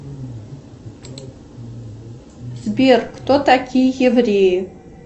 сбер кто такие евреи